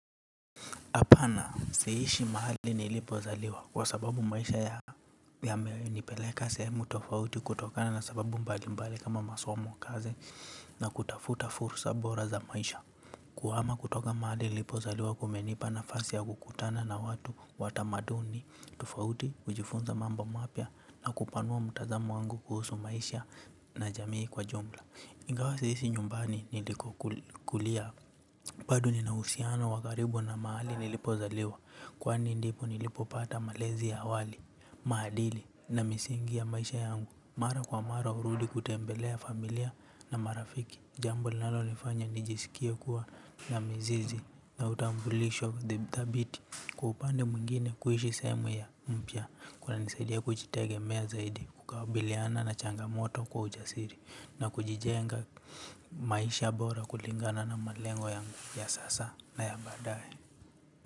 Hapana, siishi mahali nilipozaliwa kwa sababu maisha yamenipeleka sehemu tofauti kutokana na sababu mbali mbali kama masomo, kazi na kutafuta fursa bora za maisha. Kuhama kutoka mahali nilipozaliwa kumenipa nafasi ya kukutana na watu wa tamaduni tofauti, kujifunza mambo mapya na kupanua mtazamo wangu kuhusu maisha na jamii kwa jumla. Ingawa si ishi nyumbani nilikokulia bado ninauhusiano wa karibu na mahali nilipozaliwa kwani ndipo nilipopata malezi ya awali, maadili na misingi ya maisha yangu. Mara kwa mara hurudi kutembelea familia na marafiki. Jambo linalonifanya nijisikie kuwa na mizizi na utambulisho thabiti. Kwa upande mwingine, kuishi sehemu ya mpya kunanisaidia kujitegemea zaidi, kukabiliana na changamoto kwa ujasiri na kujijenga maisha bora kulingana na malengo ya sasa na ya baadae.